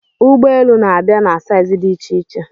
Ụgbọ elu na-abịa na saizi dị iche-iche